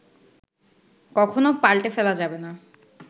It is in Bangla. কখনও পাল্টে ফেলা যাবে না